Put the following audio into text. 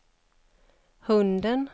hunden